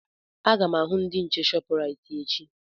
Aga m ahụ ndị nche Shọpraịt echi.